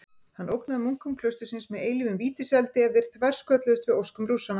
Hann ógnaði munkum klaustursins með eilífum vítiseldi ef þeir þverskölluðust við óskum Rússanna.